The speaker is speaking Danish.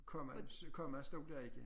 Komma komma stod der ikke